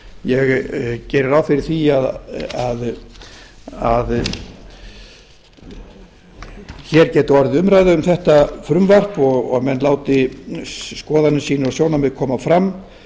ég geri ráð fyrir því að hér geti orðið umræða um þetta frumvarp og menn láti skoðanir sínar og sjónarmið koma fram